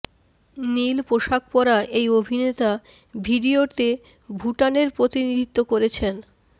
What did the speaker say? নীল পোশাক পরা এই অভিনেতা ভিডিওতে ভুটানের প্রতিনিধিত্ব করেছেন